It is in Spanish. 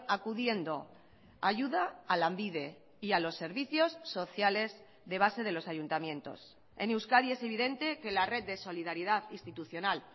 acudiendo ayuda a lanbide y a los servicios sociales de base de los ayuntamientos en euskadi es evidente que la red de solidaridad institucional